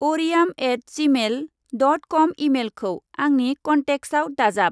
Ariyam at gmail dot com इमेइलखौ आंनि कन्टेक्ट्सआव दाजाब।